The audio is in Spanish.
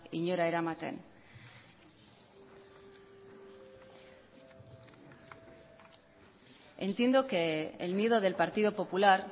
inora eramaten entiendo que el miedo del partido popular